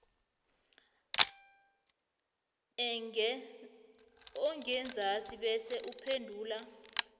engenzasi bese uphendula